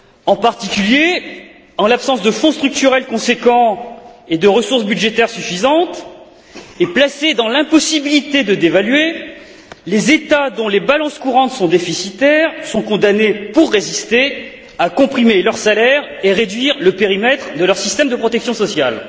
En particulier, en l'absence de fonds structurels conséquents et de ressources budgétaires suffisantes, et placés dans l'impossibilité de dévaluer, les États dont les balances courantes sont déficitaires sont condamnés, pour résister, à comprimer leurs salaires et réduire le périmètre de leurs systèmes de protection sociale.